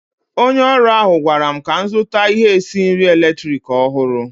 Onye ọrụ ahụ gwara m ka m zụta ihe esi nri eletrik ọhụrụ.